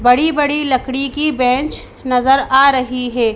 बड़ी बड़ी लकड़ी की बेंच नजर आ रही हैं।